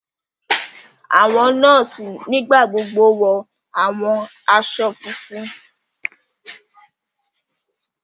Àwọn nọọsi nigbagbogbo wọ awọn aṣọ fúnfún.